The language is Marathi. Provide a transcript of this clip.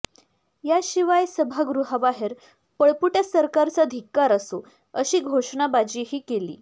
याशिवाय सभागृहाबाहेर पळपुट्या सरकारचा धिक्कार असो अशी घोषणाबाजीही केली